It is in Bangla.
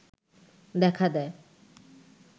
দেখা দেয়